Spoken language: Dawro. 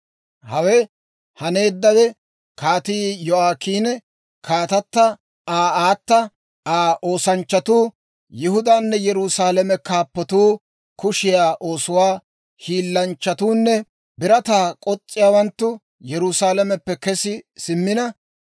Hawe haneeddawe, Kaatii Yo'aakiini, kaatata Aa aata, Aa oosanchchatuu, Yihudaanne Yerusaalame kaappatuu, kushiyaa oosuwaa hiillanchchatuunne birataa k'os's'iyaawanttu Yerusaalameppe kesi simmina.